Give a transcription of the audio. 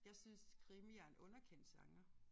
Jeg synes krimi er en underkendt genre